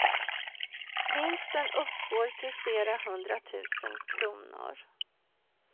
Vinsten uppgår till flera hundra tusen kronor.